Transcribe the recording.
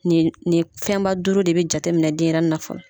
Nin fɛnba duuru de bɛ jateminɛ denyɛrɛnin na fɔlɔ.